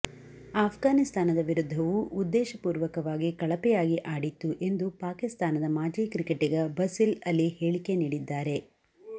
ಅಫ್ಘಾನಿಸ್ಥಾನದ ವಿರುದ್ಧವೂ ಉದ್ದೇಶಪೂರ್ವಕವಾಗಿ ಕಳಪೆಯಾಗಿ ಆಡಿತ್ತು ಎಂದು ಪಾಕಿಸ್ತಾನದ ಮಾಜಿ ಕ್ರಿಕೆಟಿಗ ಬಸಿಲ್ ಅಲಿ ಹೇಳಿಕೆ ನೀಡಿದ್ದಾರೆ